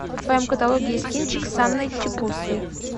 в твоем каталоге есть кинчик с анной чиповской